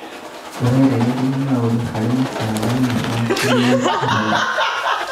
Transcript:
Ũrereria maũndũ harĩ mũtaaramũ wa kũrĩa ũikaraga.